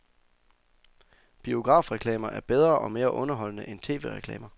Biografreklamer er bedre og mere underholdende end tv-reklamer.